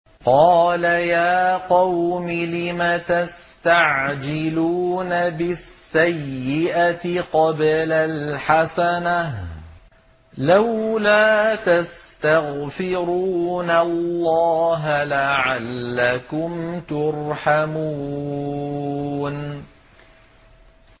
قَالَ يَا قَوْمِ لِمَ تَسْتَعْجِلُونَ بِالسَّيِّئَةِ قَبْلَ الْحَسَنَةِ ۖ لَوْلَا تَسْتَغْفِرُونَ اللَّهَ لَعَلَّكُمْ تُرْحَمُونَ